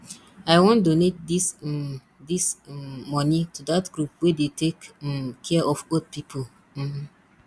i wan donate dis um dis um money to dat group wey dey take um care of old people um